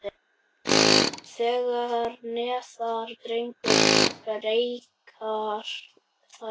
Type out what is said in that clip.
Þegar neðar dregur breikka þær.